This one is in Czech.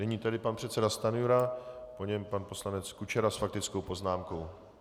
Nyní tedy pan předseda Stanjura, po něm pan poslanec Kučera s faktickou poznámkou.